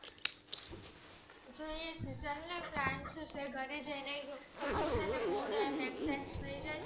ઘરે જઈને mood-exchange થય જાય ને